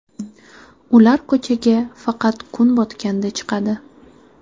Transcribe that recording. Ular ko‘chaga faqat kun botganda chiqadi.